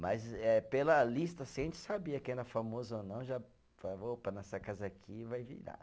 Mas eh pela lista assim, a gente sabia quem era famoso ou não, já falava opa, nessa casa aqui vai virar.